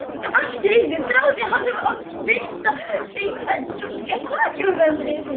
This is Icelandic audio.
Allt í einu þráði hann að veita þeim öllum sakramentið.